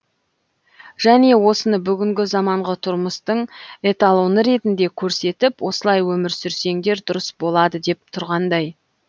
және осыны бүгінгі заманғы тұрмыстың эталоны ретінде көрсетіп осылай өмір сүрсеңдер дұрыс болады деп тұрғандай